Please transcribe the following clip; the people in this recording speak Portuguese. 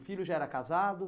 O filho já era casado?